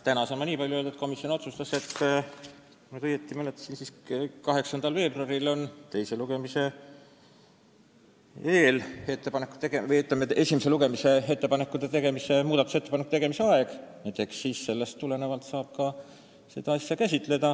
Täna saan nii palju öelda, et komisjon otsustas, kui ma õigesti mäletan, et 8. veebruar on esimese lugemise muudatusettepanekute tegemise aeg, ja eks siis sellest tulenevalt saab seda edasi menetleda.